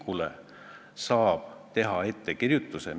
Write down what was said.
Kas selle eelnõu saamine seaduseks mõjutaks kedagi?